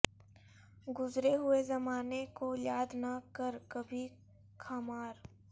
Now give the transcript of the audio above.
گذرے ہوئے زمانے کو یاد نہ کر کبھی خمار